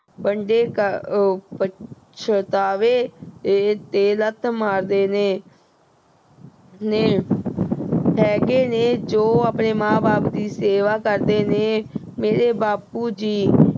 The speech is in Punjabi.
ਵੰਡੇ ਆਹ ਪਛਤਾਵੇਂ ਤੇ ਲੱਤ ਮਾਰਦੇ ਨੇ। ਅਹ ਨੇੇ। ਹੈਗੇ ਨੇ ਜੋ ਆਪਣੇ ਮਾਂ ਬਾਪ ਦੀ ਸੇਵਾ ਕਰਦੇ ਨੇ। ਮੇਰੇ ਬਾਪੂ ਜੀ